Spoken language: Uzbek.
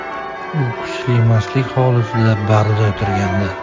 U kuchli mastlik holatida barda o‘tirgandi.